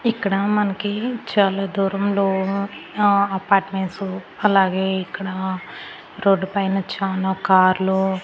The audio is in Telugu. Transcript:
ఇక్కడ మనకి చాలా దూరంలో ఆ అపార్ట్మెంట్స్ అలాగే ఇక్కడ రోడ్డుపైన చాలా కార్లు .